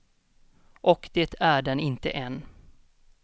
Och det är den inte än.